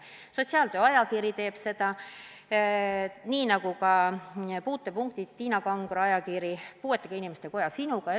Ajakiri Sotsiaaltöö teeb seda, samuti Puutepunkt, Tiina Kangro ajakiri, ja Eesti Puuetega Inimeste Koja ajakiri Sinuga.